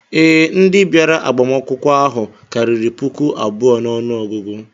Ee, ndị bịara agbamakwụkwọ ahụ karịrị puku abụọ n'ọnụọgụgụ